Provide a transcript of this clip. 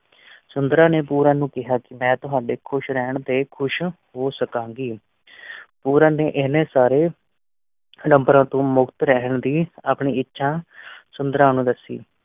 ਸੁੰਦਰਾਂ ਨੇ ਪੂਰਨ ਨੂੰ ਕਿਹਾ ਕਿ ਮੈਂ ਤੁਹਾਡੇ ਖੁਸ਼ ਰਹਿਣ ਤੇ ਖ਼ੁਸ਼ ਹੋ ਸਕਾ ਗੀ। ਪੂਰਨ ਨੇ ਇੰਨੇ ਸਾਰੇ ਅਡੰਬਰਾਂ ਤੋਂ ਮੁਕਤ ਰਹਿਣ ਦੀ ਆਪਣੀ ਇੱਛਾ ਸੁੰਦਰਾਂ ਨੂੰ ਦੱਸੀ।